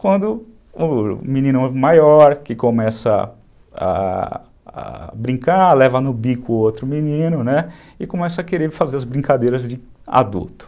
Quando o menino maior que começa a a a brincar, leva no bico o outro menino e começa a querer fazer as brincadeiras de adulto.